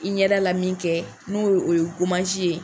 I ɲɛda la min kɛ n'o o ye ye.